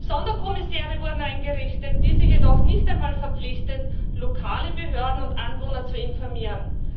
Sonderkommissäre wurden eingerichtet, diese jedoch nicht einmal verpflichtet, lokale Behörden und Anwohner zu informieren.